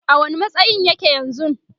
a wani matsayin yake yanzun?